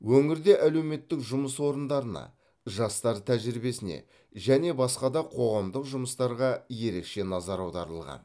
өңірде әлеуметтік жұмыс орындарына жастар тәжірибесіне және басқа да қоғамдық жұмыстарға ерекше назар аударылған